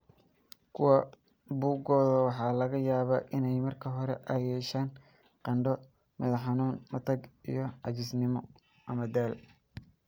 Kuwa bukooda waxaa laga yaabaa in marka hore ay yeeshaan qandho, madax-xanuun, matag iyo caajisnimo (daal).